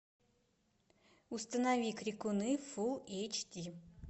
установи крикуны фулл эйч ди